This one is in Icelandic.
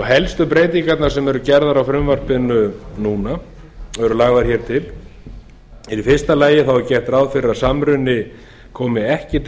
helstu breytingarnar sem eru gerðar á frumvarpinu núna eru lagðar hér til eru að í fyrsta lagi er gert ráð fyrir að samruni komi ekki til